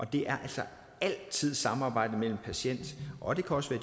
det er altså altid samarbejdet mellem patienten og det kan også